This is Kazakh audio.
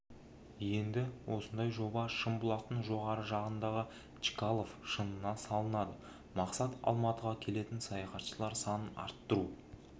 енді осындай жоба шымбұлақтың жоғарғы жағындағы чкалов шыңына салынады мақсат алматыға келетін саяхатшылар санын арттыру